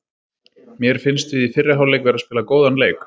Mér fannst við í fyrri hálfleik vera að spila góðan leik.